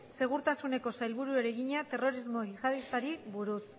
segurtasuneko sailburuari egina terrorismo jihadistari buruz